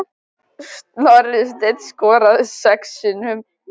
Snorri Steinn skoraði sex sinnum.